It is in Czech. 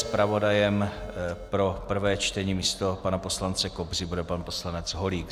Zpravodajem pro prvé čtení místo pana poslance Kobzy bude pan poslanec Holík.